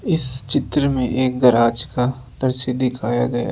इस चित्र में एक गराज का तस्वीर दिखाया गया--